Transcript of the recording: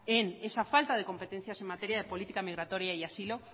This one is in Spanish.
en esa falta de competencia en materia de política migratoria y asilo